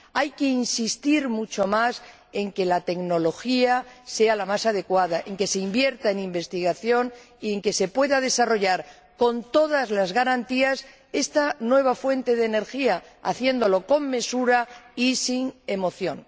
Hay que insistir mucho más en que la tecnología sea la más adecuada, en que se invierta en investigación y en que se pueda desarrollar, con todas las garantías, esta nueva fuente de energía, haciéndolo con mesura y sin emoción.